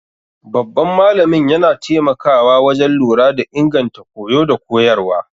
Babban malamin yana taimakawa wajen lura da inganta koyo da koyarwa.